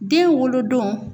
Den wolodon